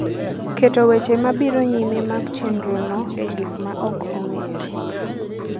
keto weche mabiro nyime mag chenrono e gik ma ok ong’ere.